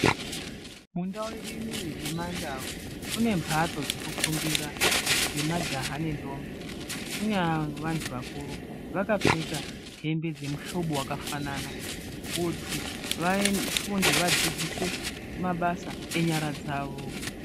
Mundau yedu inoyi yemdau kune mbatso dzekufundira dzemajaha nendombi kunyanya vantu vakuru vakapfeka hembe dzemuhlobo the wakafanana kuti vafunde vadzidziswe mabasa enyara dzawo.